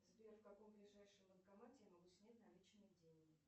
сбер в каком ближайшем банкомате я могу снять наличные деньги